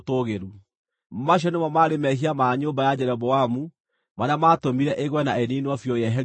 Macio nĩmo maarĩ mehia ma nyũmba ya Jeroboamu marĩa maatũmire ĩgwe na ĩniinwo biũ yeherio gũkũ thĩ.